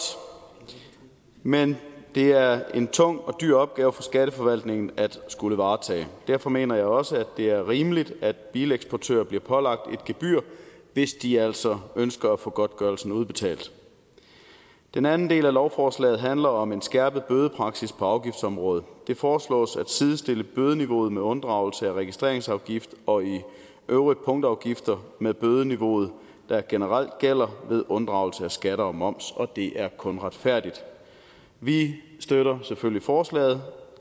men det er en tung og dyr opgave for skatteforvaltningen at skulle varetage derfor mener jeg også det er rimeligt at bileksportører bliver pålagt et gebyr hvis de altså ønsker at få godtgørelsen udbetalt den anden del af lovforslaget handler om en skærpet bødepraksis på afgiftsområdet det foreslås at sidestille bødeniveauet ved unddragelse af registreringsafgift og øvrige punktafgifter med bødeniveauet der generelt gælder ved unddragelse af skat og moms og det er kun retfærdigt vi støtter selvfølgelig forslaget